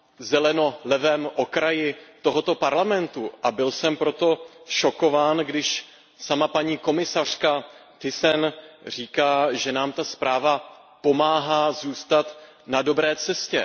zeleno levém okraji tohoto Parlamentu, a byl jsem proto šokován, když sama paní komisařka Thyssenová říká, že nám ta zpráva pomáhá zůstat na dobré cestě.